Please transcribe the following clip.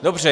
Dobře.